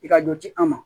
I ka dɔ di an ma